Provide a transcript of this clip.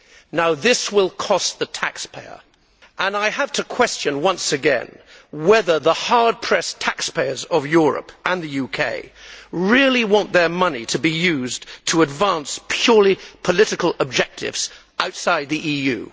Now this will cost the taxpayer, and I have to question, once again, whether the hard pressed taxpayers of Europe and the UK really want their money to be used to advance purely political objectives outside the EU?